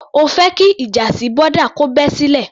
O fẹ́ jẹ́ kí ìjà sí boda kò bẹ́ sílẹ̀?